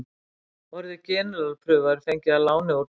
Orðið generalprufa er fengið að láni úr dönsku.